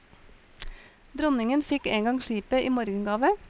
Dronningen fikk engang skipet i morgengave.